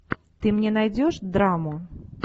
ты мне найдешь драму